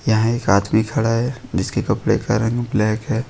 यहां एक आदमी खड़ा है जिसके कपड़े का रंग ब्लैक है।